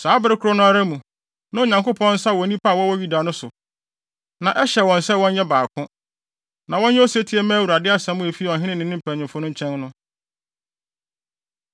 Saa bere koro no ara mu, na Onyankopɔn nsa wɔ nnipa a wɔwɔ Yuda no so. Na ɛhyɛ wɔn sɛ wɔnyɛ baako, na wɔnyɛ osetie mma Awurade asɛm a efi ɔhene ne ne mpanyimfo no nkyɛn no.